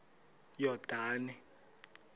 yordane